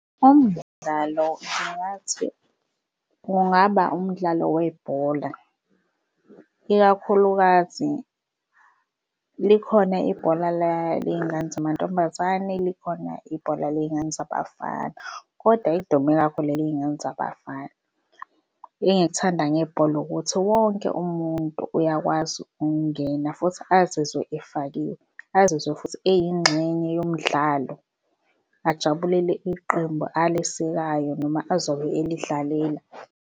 Umdlalo ngingathi kungaba umdlalo webhola ikakhulukazi likhona ibhola ley'ngane zamantombazane, likhona ibhola ley'ngane zabafana. Kodwa elikudume kakhulu eley'ngane zabafana. Engikuthanda ngebhola ukuthi wonke umuntu uyakwazi ukungena futhi azizwe efakiwe, azizwe futhi eyingxenye yomdlalo ajabulele iqembu alisekayo, noma azobe elidlalela.